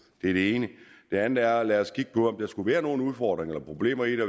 det er det ene det andet er lad os kigge på om der skulle være nogle udfordringer eller problemer i det